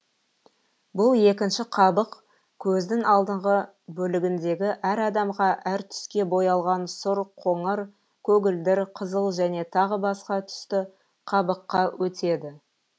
бұл екінші қабық көздің алдыңғы бөлігіндегі әр адамда әр түске боялған сұр қоңыр көгілдір қызыл және тағы басқа түсті қабыққа өтеді